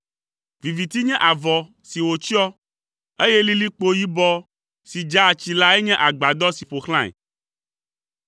Viviti nye avɔ si wòtsyɔ, eye lilikpo yibɔ si dzaa tsi lae nye agbadɔ si ƒo xlãe.